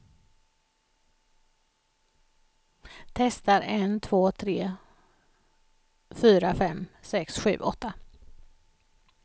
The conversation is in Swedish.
Testar en två tre fyra fem sex sju åtta.